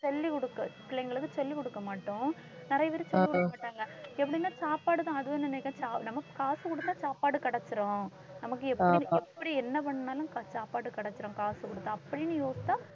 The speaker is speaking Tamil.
சொல்லிக் கொடுக்க பிள்ளைங்களுக்கு சொல்லிக் கொடுக்கமாட்டோம். நிறைய பேரு சொல்லிக் கொடுக்கமாட்டாங்க எப்படின்னா சாப்பாடுதான் அதுவும் நமக்குக் காசு கொடுத்தா சாப்பாடு கிடைச்சுரும் நமக்கு எப்படி? எப்படி என்ன பண்ணாலும் சாப்பாட்டு கிடைச்சிடும் காசு கொடுத்தா அப்படின்னு யோசிச்சா